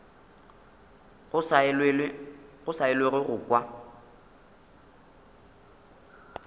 go sa elwego go kwa